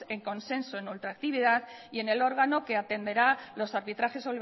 en consenso en ultractividad y en el órgano que atenderá los arbitrajes